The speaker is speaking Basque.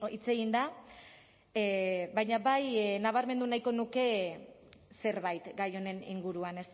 hitz egin da baina bai nabarmendu nahiko nuke zerbait gai honen inguruan